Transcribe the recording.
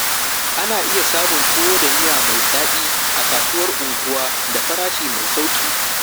Ana iya samun tuwo da miya mai daɗi a kasuwar unguwa da farashi mai sauƙi.